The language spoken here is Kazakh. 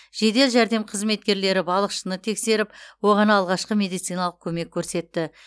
жедел жәрдем қызметкерлері балықшыны тексеріп оған алғашқы медициналық көмек көрсетті